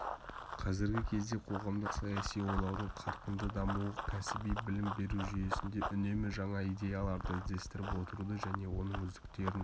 қазіргі кезде қоғамдық-саяси ойлаудың қарқынды дамуы кәсіби білім беру жүйесінде үнемі жаңа идеяларды іздестіріп отыруды және оның үздіктерін